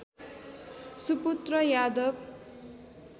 सुपुत्र यादव